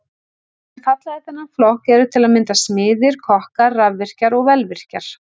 Þeir sem falla í þennan flokk eru til að mynda smiðir, kokkar, rafvirkjar og vélvirkjar.